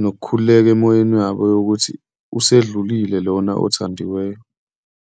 nokukhululeka emoyeni yabo yokuthi usedlulile lona othandiweyo.